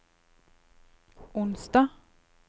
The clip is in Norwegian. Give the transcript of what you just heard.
onsdag